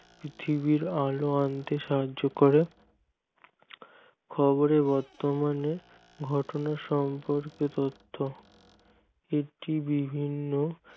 পৃথিবীর আলো আনতে সাহায্য করে খবরের বর্তমানে ঘটনার সম্পর্কিত তথ্য একটি বিভিন্ন